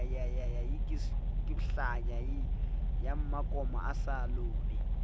ya mmakoma a sa lobe